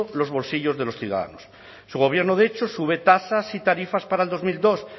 los bolsillos de los ciudadanos su gobierno de hecho sube tasas y tarifas para el dos mil dos